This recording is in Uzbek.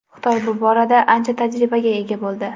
Xitoy bu borada ancha tajribaga ega bo‘ldi.